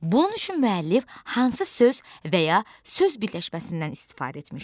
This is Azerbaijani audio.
Bunun üçün müəllif hansı söz və ya söz birləşməsindən istifadə etmişdi?